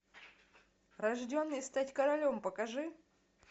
рожденный стать королем покажи